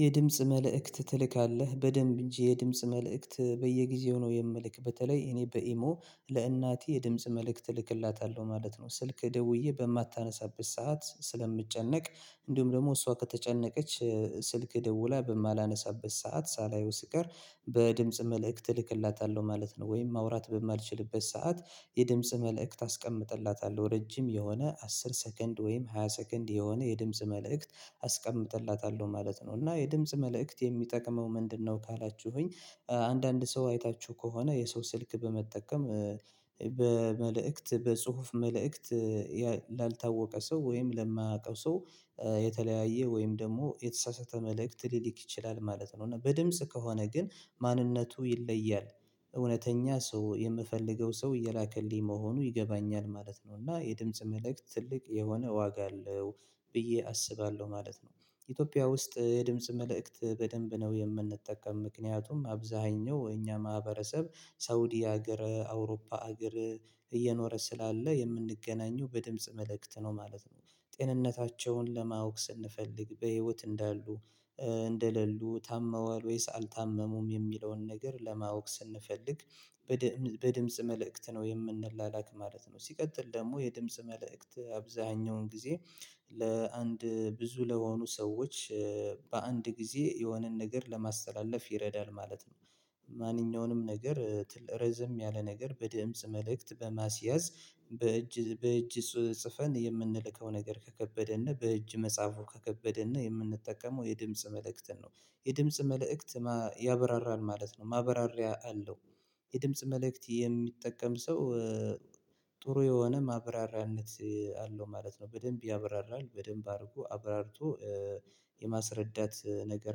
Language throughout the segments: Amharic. የድምጽ መልእክት ትልካለህ በደንብ እንጂ የድምጽ መልእክት በየጊዜው ነው የምልክ በተለይ እኔ በኢሞ ለእናቴ የድምጽ መልእክት እልክላታለሁ ማለት ነው። ስልክ ደውዬ በማታነሳበት ሰዓት ስለምጨነቅ እንዲሁም ደግሞ እሷ ከተጨነቀች ስልክ ደውላ በማላነሳበት ሰዓት ሳላየው ስቀር በድምጽ መልእክት እልክላታለሁ ማለት ነው። ወይም ማውራት በማልችልበት ሰዓት የድምጽ መልእክት አስቀምጥላታለሁ ረጅም የሆነ አስር ሰከንድ ወይም ሃያ ሰከንድ የሆነ የድምጽ መልእክት አስቀምጥላታለሁ ማለት ነው። እና የድምጽ መልእክት የሚጠቅመው ምንድነው ካላችሁኝ? አንዳንድ ሰው አይታችሁ ከሆነ የሰው ስልክ በመጠቀም በመልእክት በጽሁፍ መልእክት ላልታወቀ ሰው ወይም ለማያውቀው ሰው የተለያየ ወይም ደግሞ የተሳሳተ መልእክት ሊልክ ይችላል ማለት ነው። እና በድምጽ ከሆነ ግን ማንነቱ ይለያል እውነተኛ ሰው የምፈልገው ሰው እየላከልኝ መሆኑ ይገባኛል ማለት ነው። እና የድምጽ መልእክት ትልቅ የሆነ ዋጋ አለው ብዬ አስባለሁ ማለት ነው። ኢትዮጵያ ውስጥ የድምጽ መልእክት በደንብ ነው የምንጠቀም ምክንያቱም አብዛሀኛው የኛ ማህበረሰብ ሳውዲ ሀገር አውሮፓ ሀገር እየኖረ ስላለ የምንገናኘው በድምጽ መልእክት ነው ማለት ነው። ጤንነታቸውን ለማወቅ ስንፈልግ በህይወት እንዳሉ እንደሌሉ ታመዋል ወይስ አልታመሙም የሚለውን ነገር ለማወቅ ስንፈልግ በድምጽ መልእክት ነው የምንላክ ማለት ነው። ሲቀጥል ደግሞ የድምጽ መልእክት አብዛኛውን ጊዜ ለአንድ ብዙ ለሆኑ ሰዎች በአንድ ጊዜ የሆነን ነገር ለማስተላለፍ ይረዳል ማለት ነው። ማንኛውንም ነገር ርዘም ያለ ነገር በድእምጽ መልእክት በማስያዝ በእጅ ጽፈን የምንልከው ነገር ከከበደን በእጅ መጽሐፉ ከከበደን የምንጠቀመው የድምጽ መልእክትን ነው። የድምጽ መልእክት ያበራራል ማለት ነው ማብራሪያ አለው። የድምጽ መልእክት የሚጠቀም ሰው ጥሩ የሆነ ማብራሪያነት አለው ማለት ነው በደንብ ያብራራል በደንብ አርጎ አብራርቶ የማስረዳት ነገር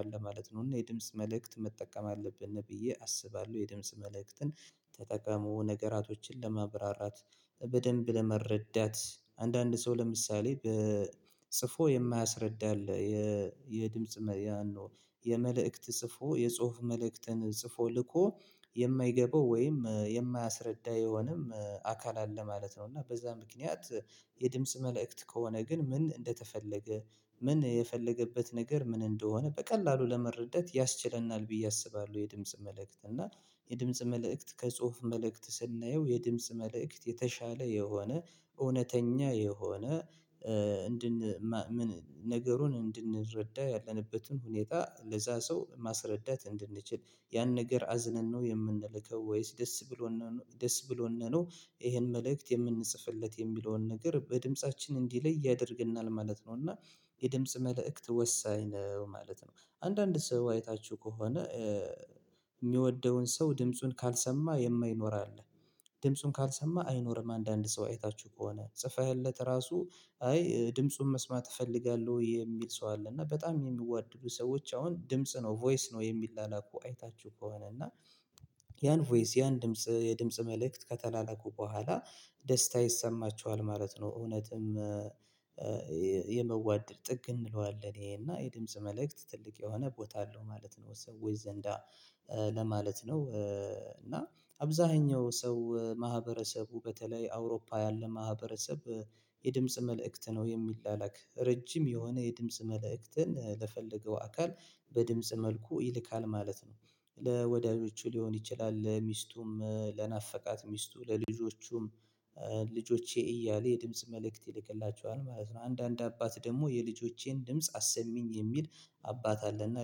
አለ ማለት ነው። እና የድምጽ መልእክት መጠቀም አለብን ብዬ አስባለሁ። የድምጽ መልእክትን ተጠቀሙ ነገራቶችን ለማብራራት በደንብ ለመረዳት አንዳንድ ሰው ለምሳሌ በጽፎ የማያስረዳ አለ የድምጽ መልእ የመልእክት ጽፎ የጽሁፍ መልእክትን ጽፎ ልኮ የማይገባው ወይም የማያስረዳ የሆነም አካል አለ ማለት ነው። እና በዛ ምክንያት የድምጽ መልእክት ከሆነ ግን ምን እንደተፈለገ ምን የፈለገበት ነገር ምን እንደሆነ በቀላሉ ለመረዳት ያስችለናል ብዬ አስባለሁ። የድምጽ መልእክት እና የድምጽ መልእክት ከጽሁፍ መልእክት ስናየው የድምጽ መልእክት የተሻለ የሆነ እውነተኛ የሆነ እንድን ነገሩን እንድንረዳ ያለንበትን ሁኔታ ለዛ ሰው ማስረዳት እንድንችል ያን ነገር አዝነን ነው የምንልከው ወይስ ደስ ብሎ ደስ ብሎንን ነው ይሄን መልእክት የምንጽፍለት የሚለውን ነገር በድምፃችን እንዲለይ ያደርግናል ማለት ነው። እና የድምጽ መልእክት ወሳኝ ነው ማለት ነው። አንዳንድ ሰው አይታችሁ ከሆነ የሚወደውን ሰው ድምጹን ካልሰማ የማይኖር አለ። ድምጹን ካልሰማ አይኖርም። አንዳንድ ሰው አይታችሁ ከሆነ ጽፈህለት ራሱ አይ ድምጹን መስማት እፈልጋለሁ የሚል ሰው አለ። እና በጣም የሚዋደዱ ሰዎች አሁን ድምጽ ነው ቮይስ ነው የሚላኩ አይታችሁ ከሆነ እና ያን ቮይስ ያን ድምጽ የድምጽ መልእክት ከተላለኩ በኋላ ደስታ ይሰማችኋል ማለት ነው። እውነትም የመዋደድ ጥግ እንለዋለን ይሄና የድምጽ መልእክት ትልቅ የሆነ ቦታ አለው ማለት ነው። የሰዎች ዘንዳ ለማለት ነው። እና አብዛኛው ሰው ማህበረሰቡ በተለይ አውሮፓ ያለ ማህበረሰብ የድምጽ መልእክት ነው የሚላላክ ረጅም የሆነ የድምጽ መልእክትን ለፈለገው አካል በድምጽ መልኩ ይልካል ማለት ነው። ለወዳጆቹ ሊሆን ይችላል ለሚስቱም ለናፈቃት ሚስቱ ለልጆቹም ልጆቼ እያለ የድምጽ መልእክት ይልክላቸዋል ማለት ነው። አንዳንድ አባት ደግሞ የልጆቼን ድምጽ አሰሚኝ የሚል አባት አለና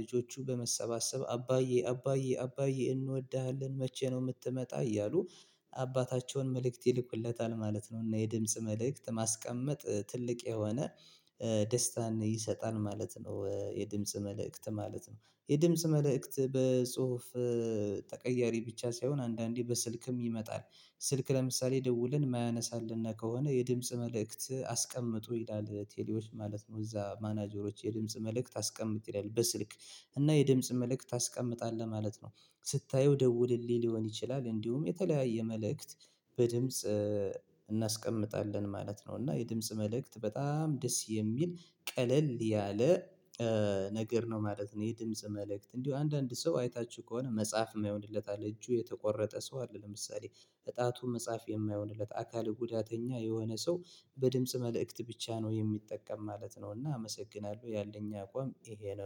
ልጆቹ በመሰባሰብ አባዬ አባዬ አባዬ እንወድሃለን መቼ ነው የምትመጣ እያሉ አባታቸውን መልእክት ይልኩለታል ማለት ነው። እና የድምጽ መልእክት ማስቀመጥ ትልቅ የሆነ ደስታን ይሰጣል ማለት ነው። የድምጽ መልእክት ማለት ነው የድምጽ መልእክት በጽሁፍ ብቻ ሳይሆን አንዳንዴ በስልክም ይመጣል። ስልክ ለምሳሌ ደውልን የማያነሳልን ከሆነ የድምጽ መልእክት አስቀምጡ ይላል ቴሌዎች ማለት ነው። እዛ ማናጀሮች የድምጽ መልእክት አስቀምጥ ይላል በስልክ እና የድምጽ መልእክት ታስቀምጣለህ ማለት ነው። ስታየው ደውልልኝ ሊሆን ይችላል እንዲሁም የተለያየ መልእክት በድምጽ እናስቀምጣለን ማለት ነው። እና የድምጽ መልእክት በጣም ደስ የሚል ቀለል ያለ ነገር ነው ማለት ነው። የድምጽ መልእክት እንዲሁ አንዳንድ ሰው አይታችሁ ከሆነ መጽሐፍ የማይሆንለት አለ እጁ የተቆረጠ ሰው አለ ለምሳሌ እጣቱ መጽሐፍ የማይሆንለት አካል ጉዳተኛ የሆነ ሰው በድምጽ መልእክት ብቻ ነው የሚጠቀም ማለት ነው። እና አመሰግናለሁ ያለኝ አቋም ይሄ ነው